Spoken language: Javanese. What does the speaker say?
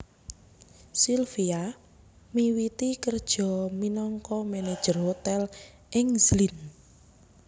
Silvia miwiti kerja minangka manager hotel ing Zlin